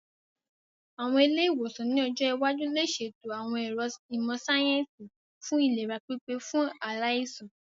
Àwọn ilé-ìwòsàn ní ọjọ́ iwájú lè ṣètò àwọn ẹ̀ro ìmọ̀ síáyẹ́nsì fún ìlera pípé fún aláìsàn